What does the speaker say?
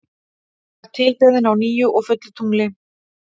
Hún var tilbeðin á nýju og fullu tungli.